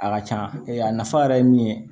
A ka ca a nafa yɛrɛ ye min ye